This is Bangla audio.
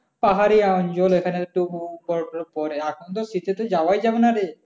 পাহারে তো আর জল এখানে তো বরফ-টরফ পড়ে আর তো শীতে তো যাওয়ায় যাবে না রে।